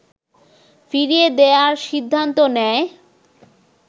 ফিরিয়ে দেয়ার সিদ্ধান্ত নেয়